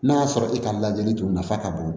N'a y'a sɔrɔ e ka lajɛli dun nafa ka bon